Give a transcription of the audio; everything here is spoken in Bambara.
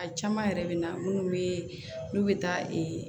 A caman yɛrɛ bɛ na minnu bɛ n'u bɛ taa